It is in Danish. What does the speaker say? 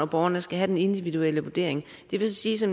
borgeren skal have den individuelle vurdering det vil sige